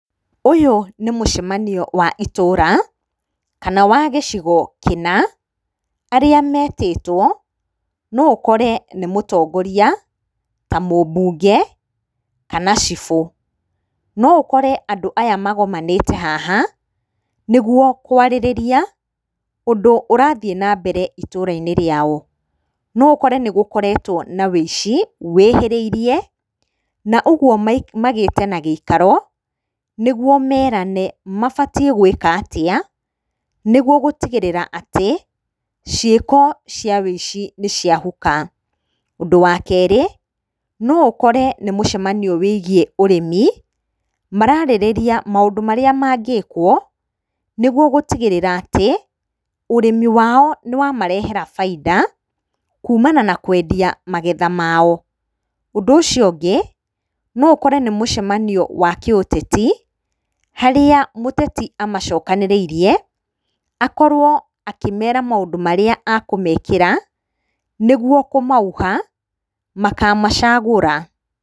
Ũyũ nĩ mũcamanio wa itũra kana wa gĩciko kĩna arĩa metĩtwo, no ũkore nĩ mũtongoria, ta mũbunge, kana cibũ. No ũkore andũ aya magomanĩte haha nĩ guo kwarĩrĩria ũndũ ũrathiĩ na mbere itũra-inĩ rĩao. No ũkore nĩ gũkoretwo na wĩici wĩhĩrĩirie na ũguo magĩte na gĩikaro nĩ guo merane mabatiĩ gũĩka atĩa nĩ guo gutigĩrĩra atĩ ciĩko cia wĩici nĩ ciahuka. Ũndũ wa kerĩ, no ũkore nĩ mũcamanio wĩgiĩ ũrĩmi, mararĩrĩria maũndũ marĩa mangĩkwo nĩ guo gũtigĩrĩra atĩ ũrĩmi wao nĩ wamarehera bainda kuumana na kwendia magetha mao. Ũndũ ũcio ũngĩ, no ũkore nĩ muicamanio wa kĩũteti, harĩa mũteti amacokanĩrĩire, akorwo akĩmera maũndũ marĩa akũmekĩra nĩguo kũmauha makamacagũra.